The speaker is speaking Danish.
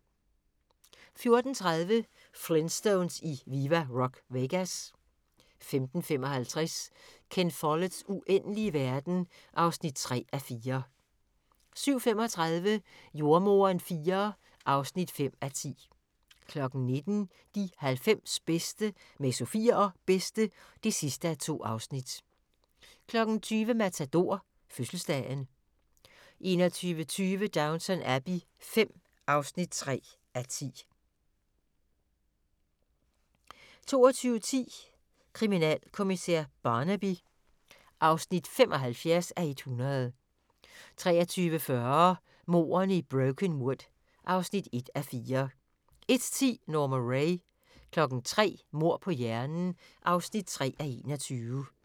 14:30: Flintstones i Viva Rock Vegas 15:55: Ken Folletts Uendelige verden (3:4) 17:35: Jordemoderen IV (5:10) 19:00: De 90 bedste med Sofie og Bedste (2:2) 20:00: Matador: Fødselsdagen 21:20: Downton Abbey V (3:10) 22:10: Kriminalkommissær Barnaby (75:100) 23:40: Mordene i Brokenwood (1:4) 01:10: Norma Rae 03:00: Mord på hjernen (3:21)